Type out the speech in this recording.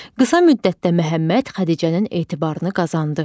Qısa müddətdə Məhəmməd Xədicənin etibarını qazandı.